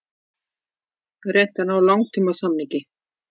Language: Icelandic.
Reynt að ná langtímasamningi